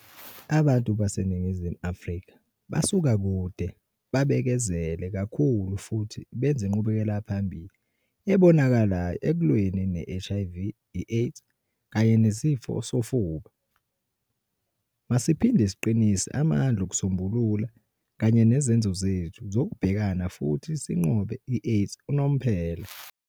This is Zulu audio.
Abantu baseNingizimu Afrika basuka kude, babekezele kakhulu futhi benze inqubekelaphambili ebonakalayo ekulweni ne-HIV, i-AIDS kanye neSifo sofuba. Masiphinde siqinise amandla okusombulula kanye nezenzo zethu zokubhekana futhi sinqobe i-AIDS unomphela.